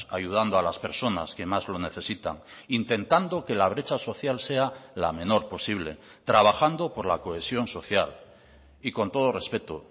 ayudando a las personas que más lo necesitan intentando que la brecha social sea la menor posible trabajando por la cohesión social y con todo respeto